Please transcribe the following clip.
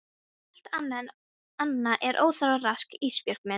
Allt annað er óþarfa rask Ísbjörg mín.